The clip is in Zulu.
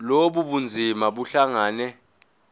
lobu bunzima buhlangane